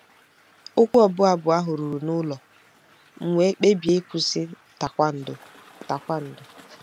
Okwu ọbụ abụ ahụ ruru n'ụlọ, m wee kpebie ịkwụsị tae kwondo. tae kwondo.